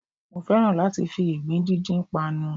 Mo fẹ́ràn láti fi ìgbín díndín panu